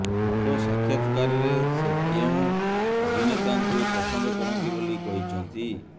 ଏକ ସାକ୍ଷାତକାରରେ ସେ କେଉଁ ଅଭିନେତାଙ୍କୁ ପସନ୍ଦ କରନ୍ତି ବୋଲି କହିଛନ୍ତି